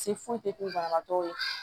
Se foyi tɛ k'u banabagatɔ ye